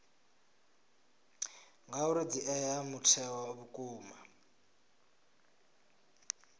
ngauri dzi ea mutheo vhukuma